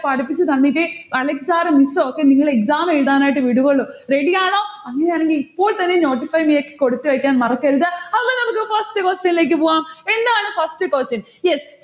പഠിപ്പിച്ചു തന്നിട്ടേ Alex sir ഉം miss ഉഒക്കെ നിങ്ങളെ exam എഴുതാനായിട്ട് വിടുവുള്ളു. ready ആണോ? അങ്ങനെയാണെങ്കിൽ ഇപ്പോൾത്തന്നെ notify me യിലേക്ക് കൊടുത്തു വെക്കാൻ മറക്കരുത്. അപ്പൊ നമ്മുക് first question ഇലേക്ക് പോകാം. എന്താണ് first question yes